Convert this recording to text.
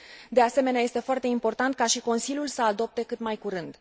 De asemenea, este foarte important ca și Consiliul să adopte cât mai curând.